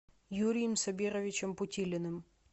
юрием сабировичем путилиным